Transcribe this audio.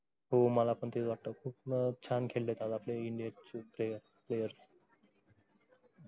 हो मला पण तेच वाटत खूप छान खेळलेत आपले इंडिया चे player players